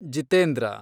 Jitendra